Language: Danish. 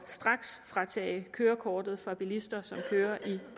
straksfratage kørekortet fra bilister som kører i